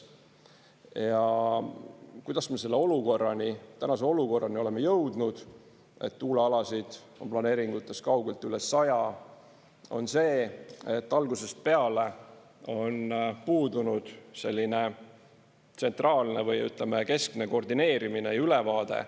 Ja kuidas me selle olukorrani, tänase olukorrani oleme jõudnud, et tuulealasid on planeeringutes kaugelt üle saja, on see, et algusest peale on puudunud selline tsentraalne või, ütleme, keskne koordineerimine ja ülevaade.